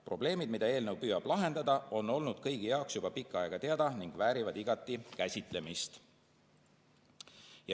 Probleemid, mida eelnõu püüab lahendada, on olnud kõigile juba pikka aega teada ning väärivad igati käsitlemist.